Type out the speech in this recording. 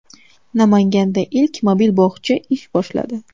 Namanganda ilk mobil bog‘cha ish boshladi .